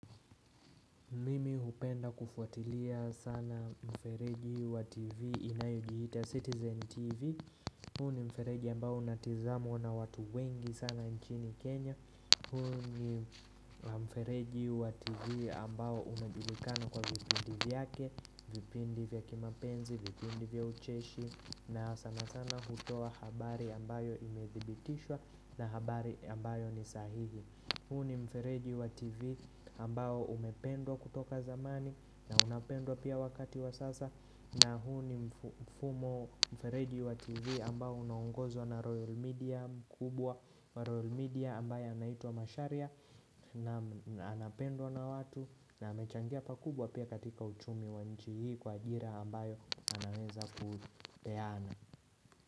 Mimi hupenda kufuatilia sana mfereji wa TV inayojiita Citizen TV huu ni mfereji ambao unatizamwa na watu wengi sana nchini Kenya huu ni mfereji wa TV ambao unajulikana kwa vipindi vyake vipindi vya kimapenzi, vipindi vya ucheshi na sana sana hutup habari ambayo imedhibitishwa na habari ambayo ni sahihi Huunni mfereji wa TV ambayo umependwa kutoka zamani na unapendwa pia wakati wa sasa na huu ni mfumo mfereji wa TV ambayo unangozwa na Royal Media kubwa Royal Media ambayo anaitwa Macharia na anapendwa na watu na amechangia pa kubwa pia katika uchumi wa nchi hii kwa ajira ambayo anameweza kupeana.